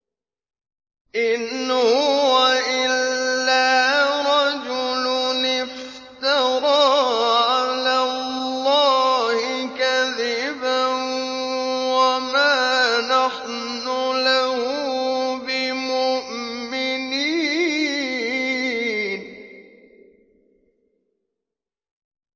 إِنْ هُوَ إِلَّا رَجُلٌ افْتَرَىٰ عَلَى اللَّهِ كَذِبًا وَمَا نَحْنُ لَهُ بِمُؤْمِنِينَ